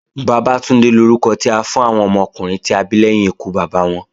Bàbátúndé lórúkọ tí à ń fún àwọn ọmọkùnrin ta bí lẹ́yìn ikú Bàbá wọn.